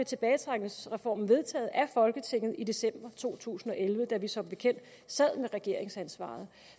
tilbagetrækningsreformen vedtaget af folketinget i december to tusind og elleve da vi som bekendt sad med regeringsansvaret